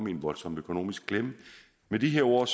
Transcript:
i en voldsom økonomisk klemme med de ord